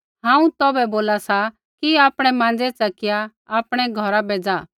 हांऊँ तौभै बोला सा कि आपणै माँज़ै च़किया आपणै घौरा बै ज़ा